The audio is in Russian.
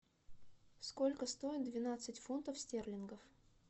сколько стоит двенадцать фунтов стерлингов